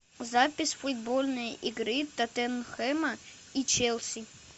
запись футбольной игры тоттенхэма и челси